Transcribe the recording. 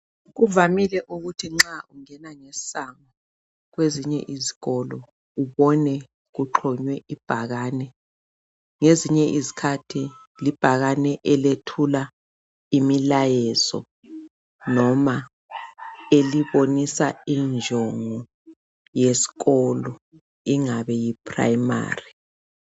Kuvamile ukuthi nxa ungena ngesango kwezinye izikolo ubone kuxhonywe ibhakane. Ngezinye izikhathi libhakane elethula imilayezo noma elibonisa injongo yesikolo ingabe yi primary